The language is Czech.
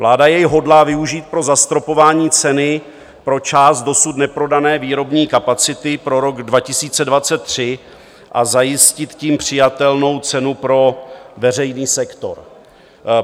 Vláda jej hodlá využít pro zastropování ceny pro část dosud neprodané výrobní kapacity pro rok 2023 a zajistit tím přijatelnou cenu pro veřejný sektor.